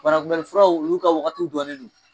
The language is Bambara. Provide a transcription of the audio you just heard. banakunbɛli furaw olu ka wagati dɔnnen don